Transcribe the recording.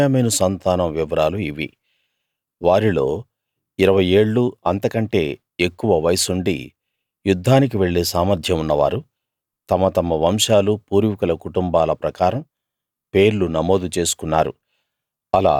బెన్యామీను సంతానం వివరాలు ఇవి వారిలో ఇరవై ఏళ్ళూ అంతకంటే ఎక్కువ వయస్సుండి యుద్ధానికి వెళ్ళే సామర్థ్యం ఉన్నవారు తమ తమ వంశాలూ పూర్వీకుల కుటుంబాల ప్రకారం పేర్లు నమోదు చేసుకున్నారు